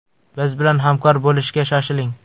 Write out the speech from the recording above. Biz bilan hamkor bo‘lishga shoshiling!